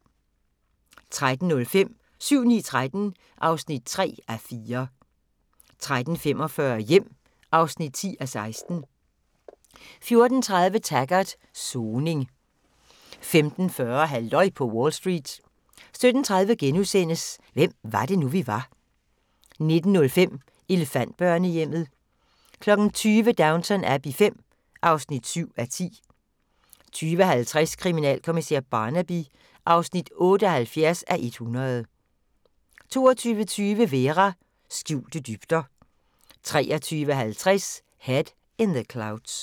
13:05: 7-9-13 (3:4) 13:45: Hjem (10:16) 14:30: Taggart: Soning 15:40: Halløj på Wall Street 17:30: Hvem var det nu, vi var * 19:05: Elefantbørnehjemmet 20:00: Downton Abbey V (7:10) 20:50: Kriminalkommissær Barnaby (78:100) 22:20: Vera: Skjulte dybder 23:50: Head in the Clouds